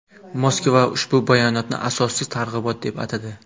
Moskva ushbu bayonotni asossiz targ‘ibot deb atadi.